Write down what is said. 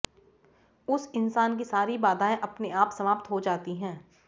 उस इंसान की सारी बाधाएं अपने आप समाप्त हो जाती हैं